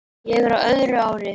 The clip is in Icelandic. Ég er á öðru ári.